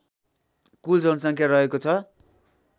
कुल जनसङ्ख्या रहेको छ